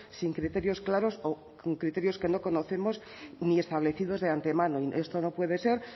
sin criterios claros o con criterios que no conocemos ni establecidos de antemano esto no puede ser